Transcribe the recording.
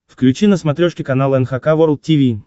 включи на смотрешке канал эн эйч кей волд ти ви